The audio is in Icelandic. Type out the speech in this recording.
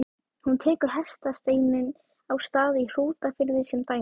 Hún tekur hestasteininn á Stað í Hrútafirði sem dæmi.